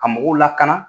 Ka mɔgɔw lakana